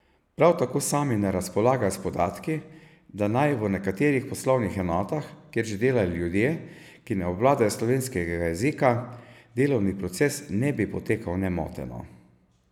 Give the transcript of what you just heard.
Prav tako sami ne razpolagajo s podatki, da naj v nekaterih poslovnih enotah, kjer že delajo ljudje, ki ne obvladajo slovenskega jezika, delovni proces ne bi potekal nemoteno.